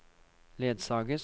ledsages